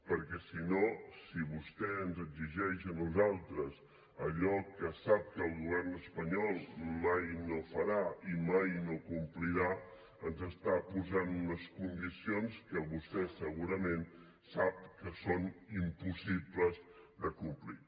perquè si no si vostè ens exigeix a nosaltres allò que sap que el govern espanyol mai no farà i mai no complirà ens està posant unes condicions que vostè segurament sap que són impossibles de complir